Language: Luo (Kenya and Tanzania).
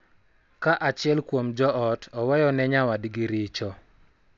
Ka achiel kuom jo ot oweyo ne nyawadgi richo, .